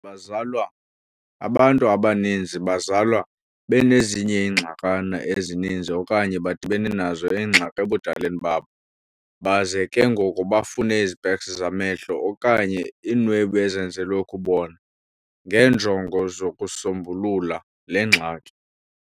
Abantu abaninzi bazalwa benezinye ingxakana ezininzi okanye badibane nezi ngxaki ebudaleni babo, baze ke ngoko bafune izpeks zamehlo, okanye "iinwebu ezenzelwe ukubona, ngeenjongo zokusombulula le ngxaki.